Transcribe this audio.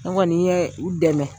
Ne kɔni yɛ u dɛmɛ.